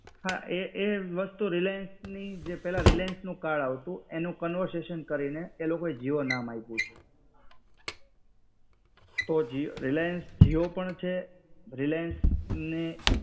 હા એ એ વસ્તુ રિલાયન્સની, જે પેલા રિલાયન્સનું કાર્ડ આવતું, એનું કનવર્જેશન કરીને એલોકોએ જીઓ નામ આપ્યું છે. જીઓ, રિલાયન્સ જીઓ પણ છે. રિલાયન્સને